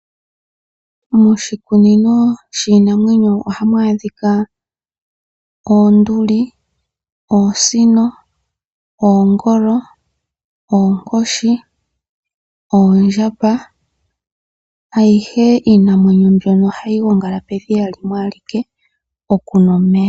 Moshikunino shiinamwenyo oha mu adhika oonduli, oosino, oongolo, oonkoshi noondjamba. Iinamwenyo ayihe mbyoka ohayi gongala pedhiya limwe oku nwa omeya.